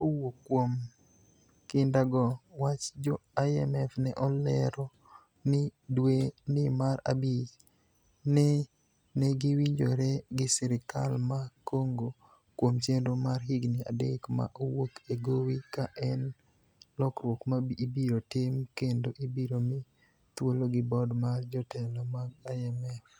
kowuok kuom kinda go wach jo IMF ne olero ni dwe ni mar abich ni negiwinjore gi serikal ma Congo kuom chenro mar higni adek ma owuok e gowi ka en lokruok ma ibiro tim kendo ibiro mi thuolo gi board mar jotelo mag IMF